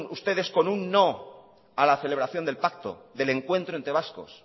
ustedes con un no a la celebración del pacto del encuentro entre vascos